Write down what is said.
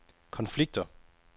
konflikter